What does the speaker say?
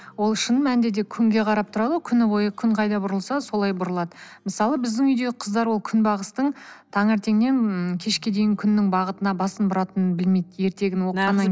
ол шын мәнінде де күнге қарап тұрады ғой күні бойы күн қайда бұрылса солай бұрылады мысалы біздің үйдегі қыздар ол күнбағыстың таңертеңнен ыыы кешке дейін күннің бағытына басын бұратынын білмейді ертегіні